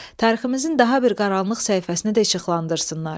Tariximizin daha bir qaranlıq səhifəsini də işıqlandırsınlar.